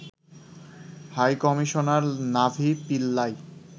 high commissioner Navi Pillay